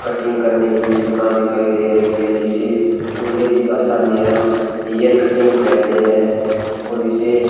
cutting करने की दुकान दिखाई दे रही है जिसे अंग्रेजी भाषा में हम हेयर कटिंग कहते हैं और इसे --